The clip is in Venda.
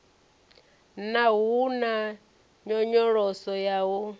naa hu na nyonyoloso ya